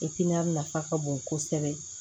nafa ka bon kosɛbɛ